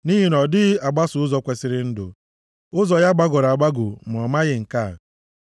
Nʼihi na ọ dịghị agbaso ụzọ kwesiri ndụ; ụzọ ya gbagọrọ agbagọ, ma ọ maghị nke a.